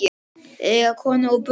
Eiga konu og börn?